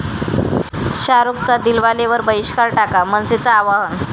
शाहरुखचा 'दिलवाले'वर बहिष्कार टाका, मनसेचं आवाहन